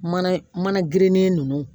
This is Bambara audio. Mana mana ginde ninnu